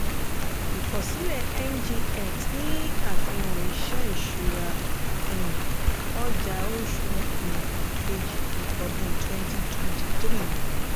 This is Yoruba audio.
ìkọ̀sílẹ̀ ngx ni àfihàn ìṣe ìṣúra um ọjà oṣù um kejì ọdún 2023.